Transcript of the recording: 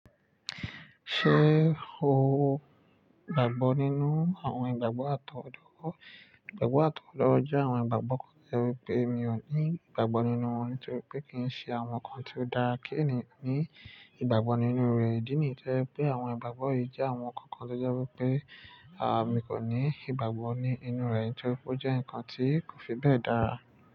Ṣé o gbàgbọ́ nínú àwọn ìgbàgbọ́ àtọwọ́dá? Ìgbàgbọ́ àtọwọ́dọwọ jẹ́ àwọn ìgbàgbọ́ kan tí ó jẹ́ pé mi ò ní ìgbàgbọ́ nínú wọn nítorí pé kì í ṣe àwọn nǹkan tí ó dáa. Kí èèyàn ní ìgbàgbọ́ nínú rẹ̀ ìdí nì jẹ́ pé àwọn ìgbàgbọ́ yìí jẹ́ àwọn nǹkan kan tó jẹ́ pé, àmi kò ní ìgbàgbọ́ ní inú rẹ̀ nítorí pé ó jẹ́ ǹkan tí kò fi bẹ́ẹ̀ dára.